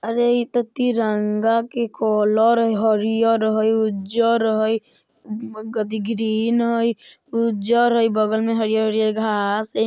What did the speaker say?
अरे इ ते तिरंगा के कलर हरियर हय उज्जर हय ग-ग्रीन हय उज्जर हय बगल में हरियर-हरियर घास हय।